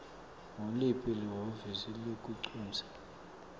nguliphi lihhovisi lelincusa